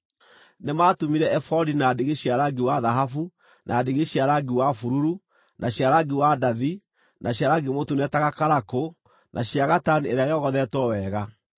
Nĩmatumire ebodi na ndigi cia rangi wa thahabu, na ndigi cia rangi wa bururu, na cia rangi wa ndathi na cia rangi mũtune ta gakarakũ, na cia gatani ĩrĩa yogothetwo wega.